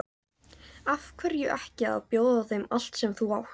Af hverju ekki að bjóða þeim allt sem þú átt?